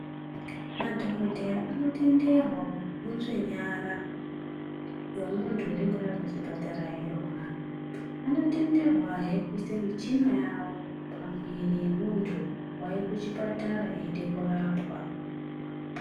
Madhogodheya anotenderwa kukunzve nyara yemuntu unenge auya kuchpatara achirwara. Anotenderwahe kuite michina yavo pamwiri yemuntu wauye kuchipatara eide kurapwa.